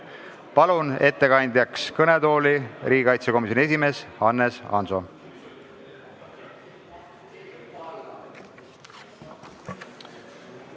Palun ettekandeks kõnetooli riigikaitsekomisjoni esimehe Hannes Hanso!